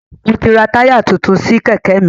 Mo ti rà táyà tuntun sí Kẹ̀kẹ́ mi